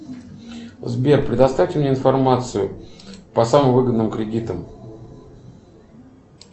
сбер предоставьте мне информацию по самым выгодным кредитам